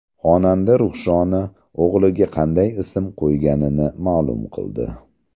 Xonanda Ruxshona o‘g‘liga qanday ism qo‘yganini ma’lum qildi.